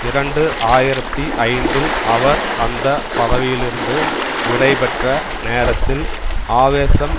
இரண்டு ஆயிரத்தி ஐந்தில் அவர் அந்த பதவியிலிருந்து விடைபெற்ற நேரத்தில் ஆவேசம்